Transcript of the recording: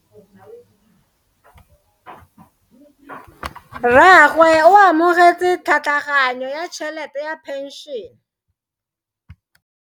Rragwe o amogetse tlhatlhaganyo ya tšhelete ya phenšene.